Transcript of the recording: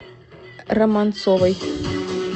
романцовой